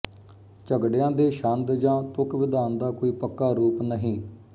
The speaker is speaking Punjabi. ਝਗੜਿਆਂ ਦੇ ਛੰਦ ਜਾਂ ਤੁਕਵਿਧਾਨ ਦਾ ਕੋਈ ਪੱਕਾ ਰੂਪ ਨਹੀਂ